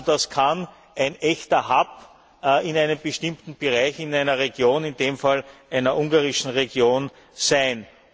Das kann also ein echter Hub in einem bestimmten Bereich in einer Region in dem Fall einer ungarischen Region sein.